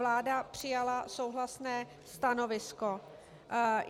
Vláda přijala souhlasné stanovisko.